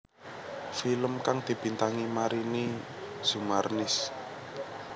Film kang dibintangi Marini Zumarnis